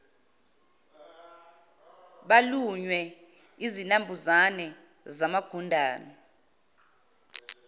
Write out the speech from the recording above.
balunywe izinambuzane zamagundwane